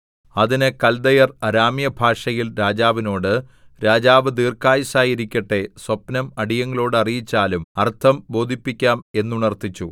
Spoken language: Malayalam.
അതിന് കല്ദയർ അരാമ്യഭാഷയിൽ രാജാവിനോട് രാജാവ് ദീർഘായുസ്സായിരിക്കട്ടെ സ്വപ്നം അടിയങ്ങളോടു അറിയിച്ചാലും അർത്ഥം ബോധിപ്പിക്കാം എന്നുണർത്തിച്ചു